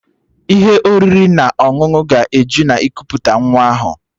Ihe oriri na ọṅụṅụ ga-eju na ikuputa nwa ahụ